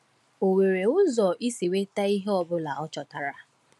O nwere ụzọ isi nweta ihe ọ bụla o chọtara.